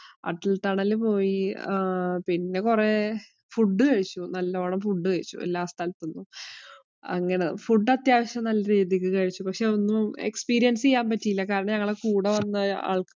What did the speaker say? Atal‍ tunnel പോയി. ആഹ് പിന്നെ കുറ food കഴിച്ചു. നല്ലപോലെ food കഴിച്ചു എല്ലാ സ്ഥലത്ത് നിന്നും. അങ്ങനെ food അത്യാവശ്യം നല്ല രീതിക്ക് കഴിച്ചു. പക്ഷേ, ഒന്നും experience ചെയ്യാന്‍ പറ്റിയില്ല. കാരണം ഞങ്ങള്‍ടെ കൂടെ വന്ന ആള്‍ക്ക്